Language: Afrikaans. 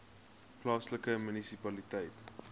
agulhas plaaslike munisipaliteit